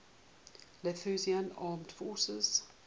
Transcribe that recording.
lithuanian armed forces